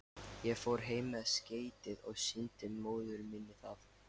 Ég fór heim með skeytið og sýndi móður minni það.